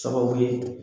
Sababu ye